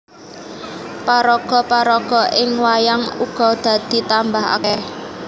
Paraga paraga ing wayang uga dadi tambah akèh